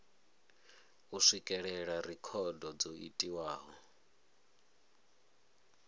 u swikelela rekhodo dzo itiwaho